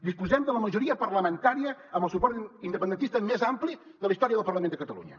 disposem de la majoria parlamentària amb el suport independentista més ampli de la història del parlament de catalunya